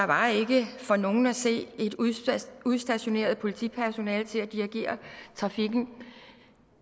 var ikke for nogen at se et udstationeret udstationeret politipersonale til at dirigere trafikken